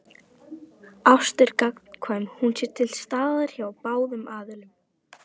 Ást er gagnkvæm sé hún til staðar hjá báðum aðilum.